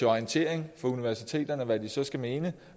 orientering af universiteterne om hvad de så skal mene